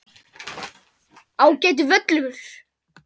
Ágætur völlur.